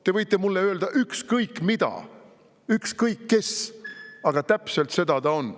Te võite mulle öelda ükskõik mida – ükskõik kes võib öelda –, aga täpselt seda ta on.